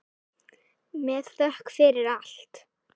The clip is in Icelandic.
Með þökk fyrir allt.